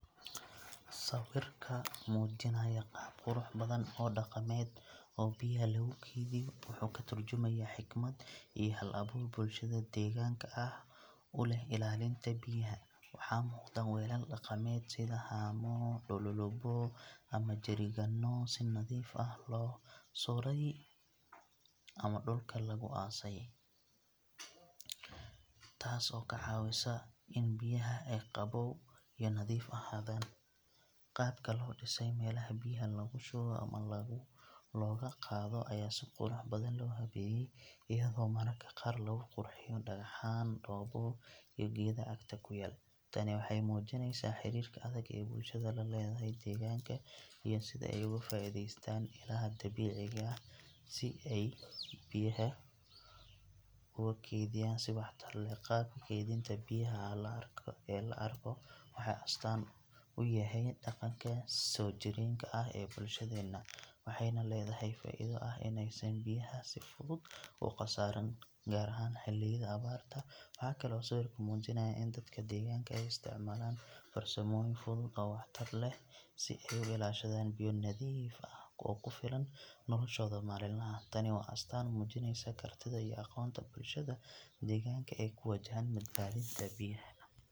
Sawirka muujinaya qaab qurux badan oo dhaqameed oo biyaha lagu keydiyo wuxuu ka tarjumayaa xikmad iyo hal-abuur bulshada deegaanka ah u leh ilaalinta biyaha. Waxaa muuqda weelal dhaqameed sida haamo, dhululubo ama jerry-gaanno si nadiif ah loo sudhay ama dhulka loogu aasay, taas oo ka caawisa in biyaha ay qabow iyo nadiif ahaadaan. Qaabka loo dhisay meelaha biyaha lagu shubo ama looga qaado ayaa si qurux badan loo habeeyay, iyadoo mararka qaar lagu qurxiyo dhagaxaan, dhoobo iyo geedo agta ku yaal. Tani waxay muujinaysaa xiriirka adag ee bulshada la leedahay deegaanka iyo sida ay uga faa’iidaystaan ilaha dabiiciga ah si ay biyaha ugu kaydiyaan si waxtar leh. Qaabka keydinta biyaha ee la arko wuxuu astaan u yahay dhaqanka soo jireenka ah ee bulshadeena, waxayna leedahay faa’iido ah in aysan biyaha si fudud u qasaarin, gaar ahaan xilliyada abaarta. Waxa kale oo sawirku muujinayaa in dadka deegaanka ay isticmaalaan farsamooyin fudud oo waxtar leh si ay u ilaashadaan biyo nadiif ah oo ku filan noloshooda maalinlaha ah. Tani waa astaan muujinaysa kartida iyo aqoonta bulshada deegaanka ee ku wajahan badbaadinta biyaha.